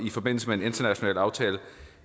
i forbindelse med en international aftale